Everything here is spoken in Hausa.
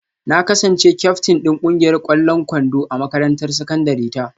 Na kasance kyaftin din kungiyar kwallon kwando a makarantar sakandare ta